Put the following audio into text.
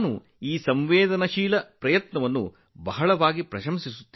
ಈ ಕಠಿಣ ಪ್ರಯತ್ನವನ್ನು ನಾನು ತುಂಬಾ ಪ್ರಶಂಸಿಸುತ್ತೇನೆ